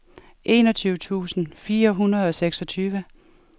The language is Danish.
enogtyve tusind fire hundrede og seksogtyve